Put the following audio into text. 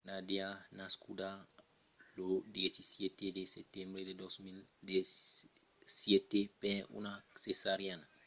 nadia nascuda lo 17 de setembre de 2007 per una cesariana a la maternitat d'aleisk en russia pesava unas massissas 17 liuras e 1 onça